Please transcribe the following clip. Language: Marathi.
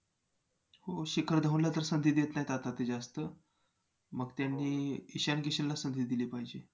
हो शिखर धवनला तर संधी देत नाहीत आता ते जास्त मग त्यांनी ईशान किशनला संधी दिली पाहिजे.